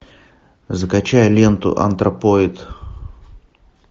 закачай ленту антропоид